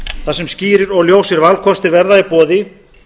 þar sem skýrir og ljósir valkostir verða í boði